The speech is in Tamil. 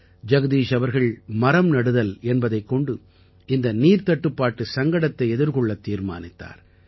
ஜகதீஷ் அவர்கள் மரம் நடுதல் என்பதைக் கொண்டு இந்த நீர்த்தட்டுப்பாட்டு சங்கடத்தை எதிர்கொள்ளத் தீர்மானித்தார்